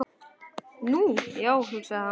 Nú, já, hugsaði hann.